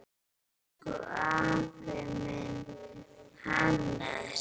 Elsku afi minn, Hannes.